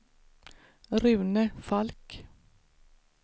Rune Falk